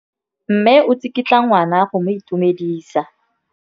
Mme o tsikitla ngwana go mo itumedisa.